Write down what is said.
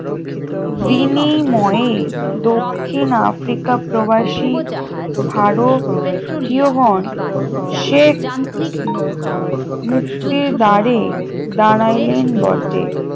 বিনিময়ে দক্ষিণ আফ্রিকা প্রবাসী ভারতীয়গণ শেখ মুক্তি দ্বারে দাঁড়াইলেন বটে